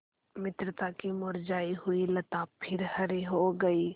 मित्रता की मुरझायी हुई लता फिर हरी हो गयी